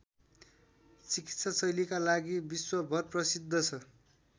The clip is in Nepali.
चिकित्साशैलीका लागि विश्वभर प्रसिद्ध छ